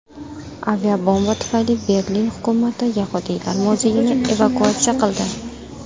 Aviabomba tufayli Berlin hukumati yahudiylar muzeyini evakuatsiya qildi.